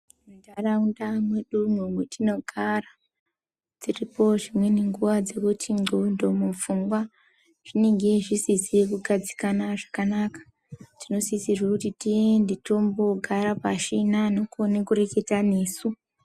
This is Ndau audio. Muntaraunda mwedumwo mwetinogara dziripo dzimweni nguwa dzekuti ndxondo mupfungwa zvinenge zvisizi kugadzikana zvakanaka tinosisirwe kuti tiende toogara pashi neanokona kureketa nesu.